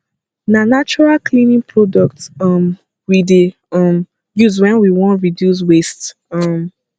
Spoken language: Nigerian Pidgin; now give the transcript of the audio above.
na natural cleaning products um we dey um use wen we wan reduce waste um